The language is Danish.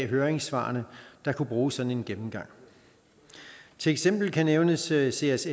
høringssvarene kunne bruge sådan en gennemgang til eksempel kan nævnes seas seas